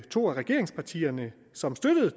to af regeringspartierne som støttede